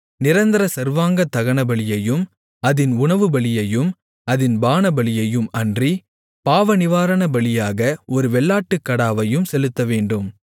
நிரந்தர சர்வாங்கதகனபலியையும் அதின் உணவுபலியையும் அதின் பானபலியையும் அன்றி பாவநிவாரணபலியாக ஒரு வெள்ளாட்டுக்கடாவையும் செலுத்தவேண்டும்